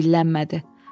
Heç kim dillənmədi.